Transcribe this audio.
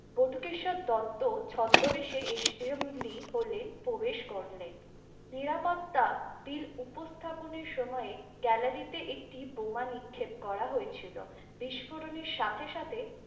বটুকেশ্বর দত্ত ছদ্মবেশে assembly হলে প্রবেশ করলেন নিরাপত্তা বিল উপস্থাপনের সময় gallery তে একটি বোমা নিক্ষেপ করা হয়েছিল বিস্ফোরণের সাথে সাথে।